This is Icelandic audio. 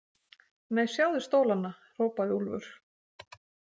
Nei, sjáðu stólana, hrópaði Úlfur.